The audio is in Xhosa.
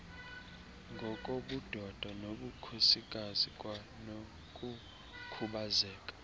ngokobudoda nobukhosikazi kwanokukhubazeka